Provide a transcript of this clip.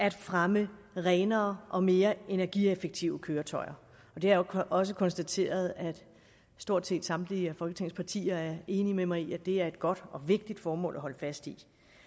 at fremme renere og mere energieffektive køretøjer jeg har også konstateret at stort set samtlige af folketingets partier er enige med mig i at det er et godt og vigtigt formål at holde fast i